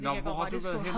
Nå hvor har du været henne?